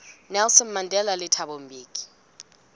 nelson mandela le thabo mbeki